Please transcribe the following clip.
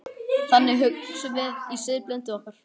Þannig hugsum við í siðblindu okkar.